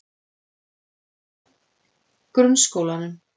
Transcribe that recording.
Grunnskólanum